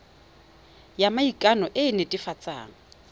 ya maikano e e netefatsang